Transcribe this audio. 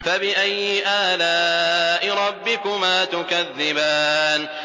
فَبِأَيِّ آلَاءِ رَبِّكُمَا تُكَذِّبَانِ